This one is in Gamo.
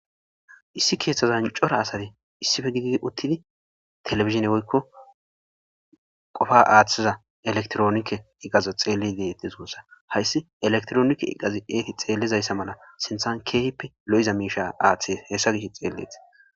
Issi keeththazan cora asate issife giigi uttidi telefizine goykko qofa aaththiza elektroonkke iqazo xeelledetesoossa hayssi elektroonikke iqazi eeti xeellizayssa mala sinthan keehippe lo7iza miisha aaththe heessa gish xeelleet.